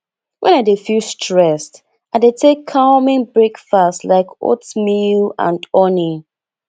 when i dey feel stressed i dey take calming breakfast like oatmeal and honey